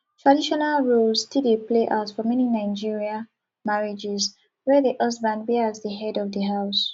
traditional roles still dey play out for many nigerian marrriages where di husband be as di head of di house